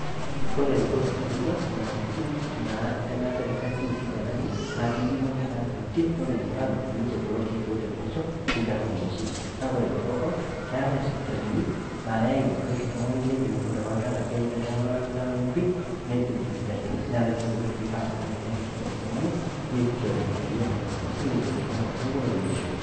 koree entoki nayaua nyamalitin naa pemetai ilkasin ilkijanani naa ketoni ake tonkang'itie netoni awook kulo keek oitemerisho na wore tenkop ang' naa ketai sipitalini nayai iltung'anak nipimi pawore eintanyamala ildawai nkue nitibu ilkitarini neyai rehab ewueji neyai oltung'ani nishori ninye ilmatibabu nishiu